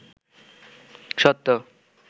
সত্য